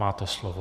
Máte slovo.